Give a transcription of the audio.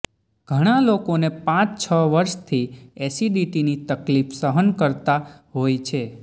ઘણા લોકોને પાંચ છ વર્ષથી એસિડિટીની તકલીફ સહન કર્તા હોય છે